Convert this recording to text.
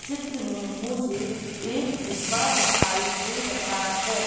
चित्र में मुझे एक डिब्बा दिखाई दे रहा है।